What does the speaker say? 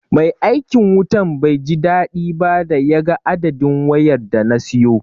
Mai aikin wutan bai ji daɗi ba da ya ga adadin wayar da na siyo.